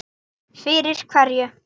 Fyrir hverju?